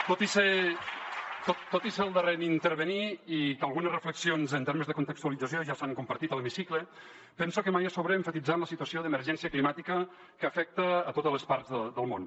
tot i ser el darrer a intervenir i que algunes reflexions en termes de contextualització ja s’han compartit a l’hemicicle penso que mai és sobrer emfatitzar en la situació d’emergència climàtica que afecta totes les parts del món